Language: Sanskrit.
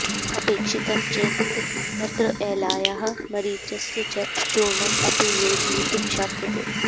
अपेक्षितं चेत् तत्र एलायाः मरीचस्य च चूर्णम् अपि योजयितुं शक्यते